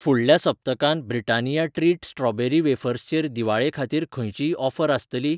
फुडल्या सप्तकांत Britannia treat strawberry wafers चेर दिवाळे खातीर खंयचीय ऑफर आसतली?